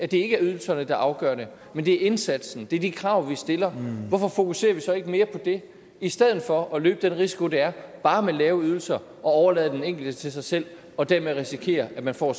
det ikke ydelserne der afgør det men det er indsatsen det er de krav vi stiller hvorfor fokuserer vi så ikke mere på det i stedet for at løbe den risiko det er bare med lave ydelser at overlade den enkelte til sig selv og dermed risikere at man får